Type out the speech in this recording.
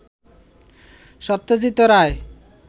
Satyajit Ray